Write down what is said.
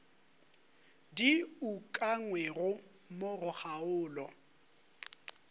di ukangwego mo go kgaolo